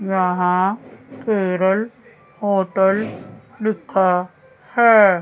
यहां केरल होटल लिखा है।